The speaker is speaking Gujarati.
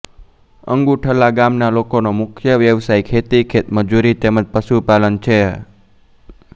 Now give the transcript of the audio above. અંગુઠલા ગામના લોકોનો મુખ્ય વ્યવસાય ખેતી ખેતમજૂરી તેમ જ પશુપાલન છે